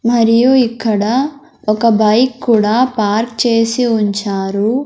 మరియు ఇక్కడ ఒక బైక్ కూడా పార్క్ చేసి ఉంచారు.